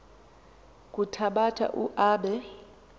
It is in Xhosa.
kuthabatha u aabe